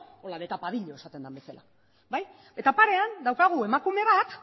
holan de tapadillo esaten den bezala eta parean daukagu emakume bat